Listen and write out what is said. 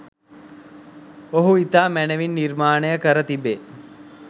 ඔහු ඉතා මැනවින් නිර්මාණය කර තිබේ.